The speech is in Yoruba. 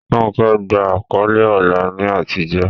Ronke gba àkọ́lé ọlá ní àtijọ́.